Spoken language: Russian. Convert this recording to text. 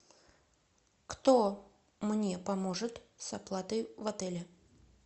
кто мне поможет с оплатой в отеле